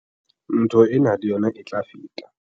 Ntho ena le yona e tla feta.